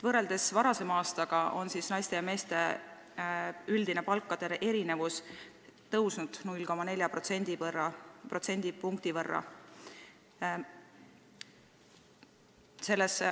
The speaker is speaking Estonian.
Võrreldes varasema aastaga on naiste ja meeste palkade üldise erinevuse näitaja kasvanud 0,4 protsendi võrra.